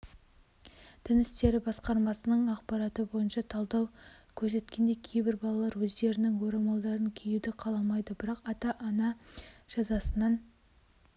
дін істері басқармасының ақпараты бойынша талдау көрсеткендей кейбір балалар өздерінің орамалдарын киюді қаламайды бірақ ата-ана жазасынан